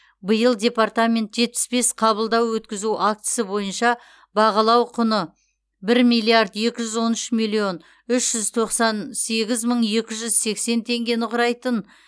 биыл департамент жетпіс бес қабылдау өткізу актісі бойынша бағалау құны бір миллиард екі жүз он үш миллион үш жүз тоқсан сегіз мың екі жүз сексен теңгені құрайтын